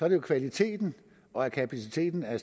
at kvaliteten og kapaciteten er